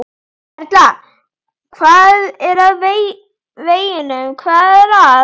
Erla: Hvað er að veginum, hvað er að?